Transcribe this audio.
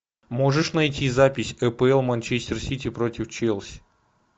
можешь найти запись апл манчестер сити против челси